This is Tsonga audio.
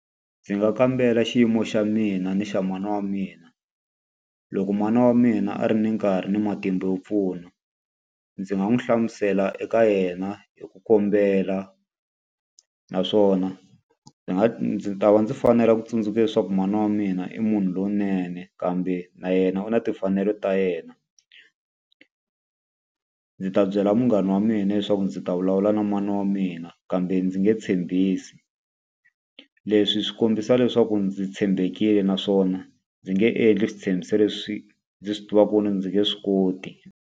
Ndzi nga kambela xiyimo xa mina ni xa mana wa mina. Loko mana wa mina a ri ni nkarhi ni matimba yo pfuna, ndzi nga n'wi hlamusela eka yena hi ku kombela. Naswona ndzi nga ndzi ta va ndzi fanela ku tsundzuka leswaku mana wa mina i munhu lowunene kambe na yena, na timfanelo ta yena. Ndzi ta byela munghana wa mina leswaku ndzi ta vulavula na mana wa mina kambe ndzi nge tshembisi. Leswi swi kombisa leswaku ndzi tshembekile naswona ndzi nge endli switshembiso leswi ndzi swi tivaka ku ndzi nge swi koti.